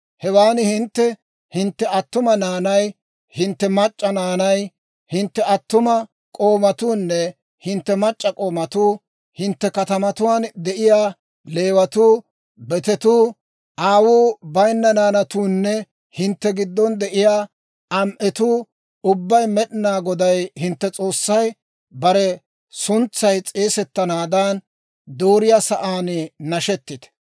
Hewaan hintte, hintte attuma naanay, hintte mac'c'a naanay, hintte attuma k'oomatuunne hintte mac'c'a k'oomatuu, hintte katamatuwaan de'iyaa Leewatuu, betetuu, aawuu bayinna naanatuunne hintte giddon de'iyaa am"etuu ubbay Med'inaa Goday hintte S'oossay bare suntsay s'eesettanaadan dooriyaa sa'aan, nashetite.